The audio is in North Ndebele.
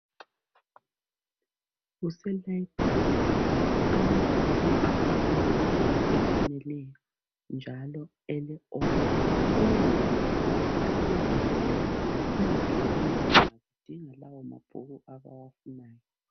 Kuse layibhulali amabhuku afakwe ngendlela efaneleyo njalo ele oda ukuze abafundi nxa bezoboleka bengathwali nzima bedinga lawa mabhuku abafuna ukuwaboleka